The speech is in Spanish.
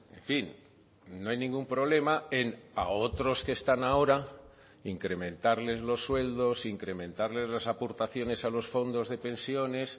en fin no hay ningún problema en a otros que están ahora incrementarles los sueldos incrementarles las aportaciones a los fondos de pensiones